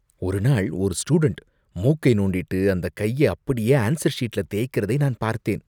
ஒரு நாள் ஒரு ஸ்டூடென்ட் மூக்கை நோண்டிட்டு அந்தக் கைய அப்படியே ஆன்சர் ஷீட்ல தேய்க்கிறதை நான் பார்த்தேன்.